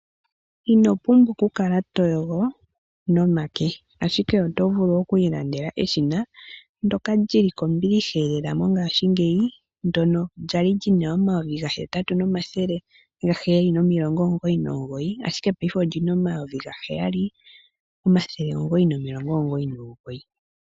Ino pumbwa ku kala to yogo nomake, ashike oto vulu okwiilandela eshina ndyoka li li kombiliha lela mongaashingeyi, ndyono lyali li na omayovi gahetatu nomathele gaheyali nomilongi omungoyi nomungoyi, ashike payife oli na omayovi gaheyali omathele omungoyi nomilongo omungoyi nomungoyi.